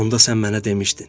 Onda sən mənə demişdin: